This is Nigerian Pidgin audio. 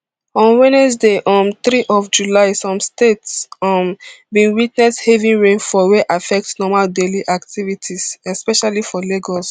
on wednesday um three of july some states um bin witness heavy rain fall wey affect normal daily activity especially for lagos